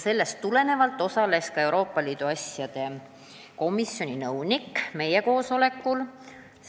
Seepärast osales ka Euroopa Liidu asjade komisjoni nõunik meie koosolekul.